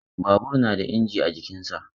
Babur na da inji a jikinsa.